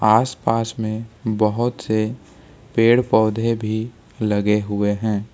आसपास में बहुत से पेड़ पौधे भी लगे हुए हैं।